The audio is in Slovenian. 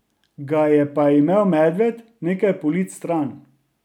Ga je pa imel medved nekaj polic stran.